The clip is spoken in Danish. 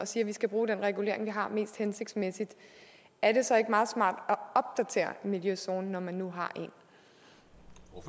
siger at vi skal bruge den regulering vi har mest hensigtsmæssigt er det så ikke meget smart at opdatere miljøzonen når man nu